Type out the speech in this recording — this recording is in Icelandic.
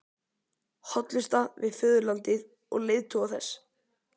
Hollusta við föðurlandið og leiðtoga þess.